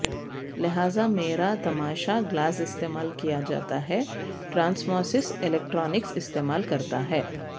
لہذا میرا تماشا گلاس استعمال کیا جاتا ہے ٹرانسمااس الیکٹرانکس استعمال کرتا ہے